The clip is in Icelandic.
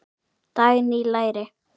Dagný: Læri.